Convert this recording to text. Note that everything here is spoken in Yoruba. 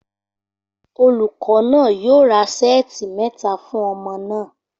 Olùkọ́ náà yóò ra ṣẹ́ẹ̀tì mẹ́ta fún ọmọ náà